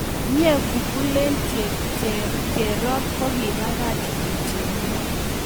Myee! googlen cherop kogiipagach d. j. mo